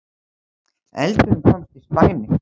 Eldurinn komst í spæni